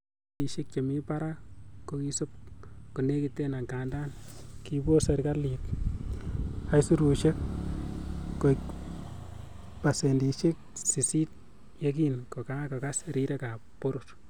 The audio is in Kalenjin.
Beishek chemi barak ko ki sob nekikiten, angandan ki kobos serkalit aisurusiek koik pasendisiek sisit yekin kokagas rirek ab boror.